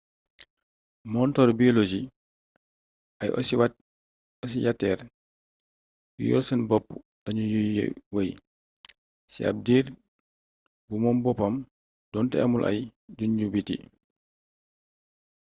montaru biologie ay osiyatër yu yor seen bopp lañu yuy wey ci ab diir bu moom boppam donte amul ay juñju biti